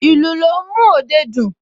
Ìlù ló ń mú òde dùn